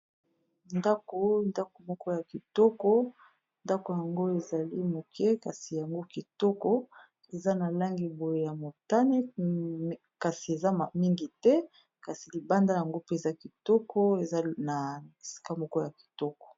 Ndako ndako moko ya kitoko ndako yango ezali moke kasi yango kitoko eza na langi boye ya motane, kasi eza mingi te kasi libanda yango mpenza kitoko eza na isika moko ya kitoko.